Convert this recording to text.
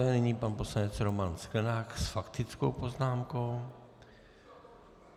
Nyní pan poslanec Roman Sklenák s faktickou poznámkou.